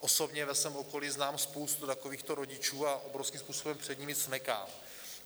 Osobně ve svém okolí znám spoustu takovýchto rodičů a obrovským způsobem před nimi smekám.